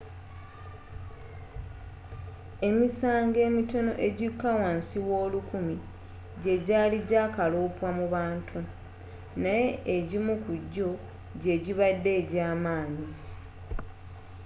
emisango emitono egikka wa nsi w'olulukumi gyegyaali gyakalopwa mu bantu naye egimu kujjo gy'egibadde egy'amaanyi